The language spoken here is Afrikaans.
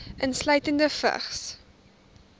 insluitende vigs